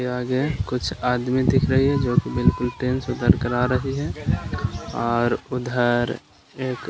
के आगे कुछ आदमी दिख रही है जो की बिलकुल ट्रेन से उतरकर आ रही है और उधर एक --